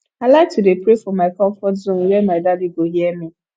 i like to dey pray for my comfort zone were my daddy go hear me